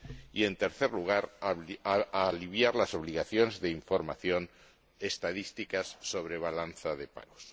y, en tercer lugar, aliviar las obligaciones de información estadística sobre la balanza de pagos.